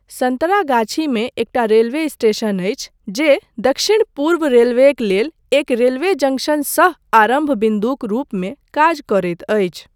सन्तरागाछीमे एकटा railway station अछि जे दक्षिण पूर्व रेलवेक लेल एक रेलवे जंक्शन सह आरम्भ बिन्दुक रूपमे काज करैत अछि।